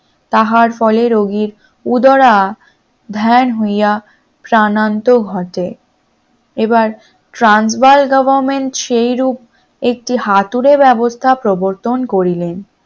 তাহার ফলে রোগীর উদারা ধ্যান হইয়া প্রাণান্ত ঘটে এবার ট্রান্সবার government একটি হাতুড়ে ব্যবস্থা প্রবর্তন করিলেন